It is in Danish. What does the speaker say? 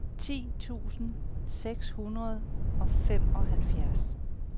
ti tusind seks hundrede og femoghalvfjerds